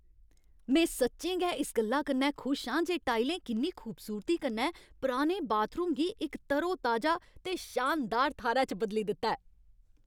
में सच्चें गै इस गल्ला कन्नै खुश आं जे टाइलें किन्नी खूबसूरती कन्नै पुराने बाथरूम गी इक तरोताजा ते शानदार थाह्रै च बदली दित्ता ऐ।